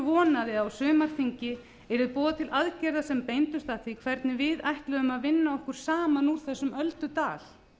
vonaði að á sumarþingi yrði boðað til aðgerða sem beindust að því hvernig við ætluðum að vinna okkur saman úr þessum öldudal